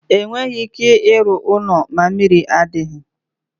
Enweghị ike ịrụ ụlọ ma mmiri adighi.